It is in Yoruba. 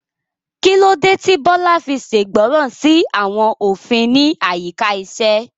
Kí ló dé tí Bola fi ṣègbọràn sí àwọn òfin ní àyíká iṣẹ́?